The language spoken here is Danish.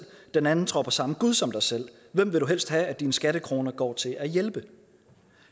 den anden tror på samme gud som dig selv hvem vil du helst have at dine skattekroner går til at hjælpe